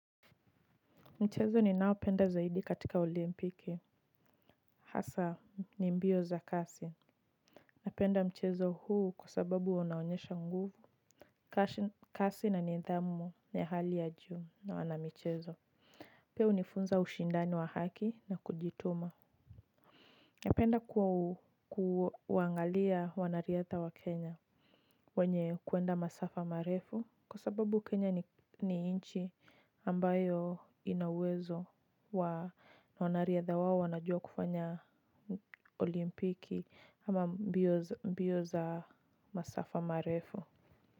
Mchezo ninao penda zaidi katika olimpiki. Hasa ni mbio za kasi. Napenda mchezo huu kwa sababu wanaonyesha nguvu kasi na nidhamu ya hali ya juu na wanamchezo. Pia hunifunza ushindano wa haki na kujituma. Napenda kuwa uangalia wanariadha wa Kenya Wenye kuenda masafa marefu kwa sababu Kenya ni inchi ambayo inauwezo wa wanariadha wao wanajua kufanya olimpiki ama mbio za masafa marefu.